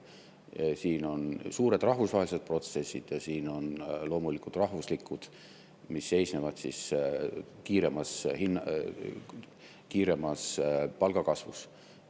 on suured rahvusvahelised protsessid ja siin loomulikult ka rahvuslikud protsessid, mis seisnevad kiiremas palgakasvus.